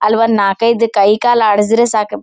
ಅಲ್ಲಿ ಒಂದ್ ನಾಕ್ ಐದ್ ಕೈ ಕಾಲ್ ಆಡ್ಸದಿದ್ರೆ ಸಾಕ್--